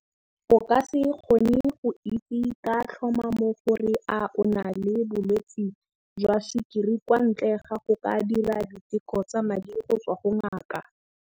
O ka se kgone go itse ka tlhomamo gore a o na le bolwetse jwa sukiri kwa ntle ga go ka dira diteko tsa madi go tswa go ngaka.